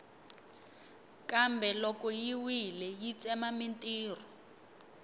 kambe loko yi wile yi tsema mintirho